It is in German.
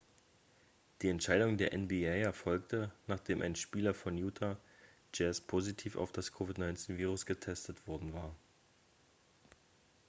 die entscheidung der nba erfolgte nachdem ein spieler von utah jazz positiv auf das covid-19-virus getestet worden war